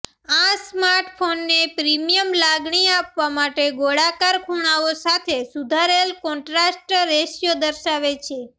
આ સ્માર્ટફોનને પ્રીમિયમ લાગણી આપવા માટે ગોળાકાર ખૂણાઓ સાથે સુધારેલ કોન્ટ્રાસ્ટ રેશિયો દર્શાવે છે